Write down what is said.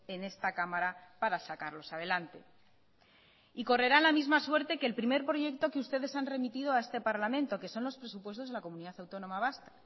en esta cámara para sacarlos adelante y correrá la misma suerte que el primer proyecto que ustedes han remitido a este parlamento que son los presupuestos de la comunidad autónoma vasca